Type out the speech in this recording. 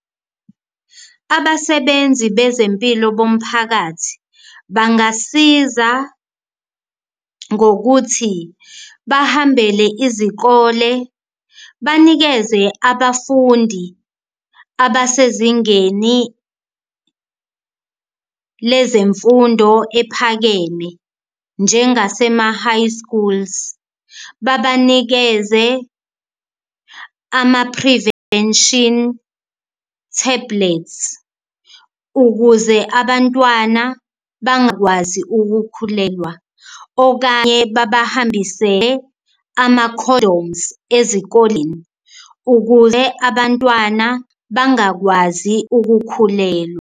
Abasebenzi bezempilo bomphakathi bangasiza ngokuthi bahambele izikole banikeze abafundi abasezingeni lezemfundo ephakeme njengasema-high schools, babanikeze ama-prevention tablet ukuze abantwana bangakwazi ukukhulelwa. Okanye babahambisele ama-condoms ezikoleni ukuze abantwana bangakwazi ukukhulelwa.